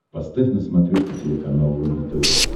поставь на смотрешке телеканал рубль тв